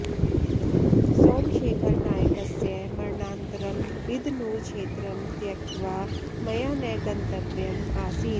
सोमशेखरनायकस्य मरणानन्तरं बिदनूरुक्षेत्रं त्यक्त्वा मया न गन्तव्यम् आसीत्